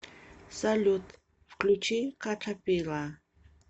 салют включи катапила